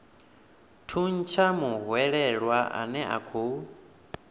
thuntsha muhwelelwa ane a khou